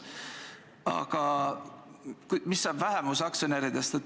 Aga mis saab vähemusaktsionäridest?